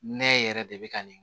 Nɛ yɛrɛ de bɛ ka nin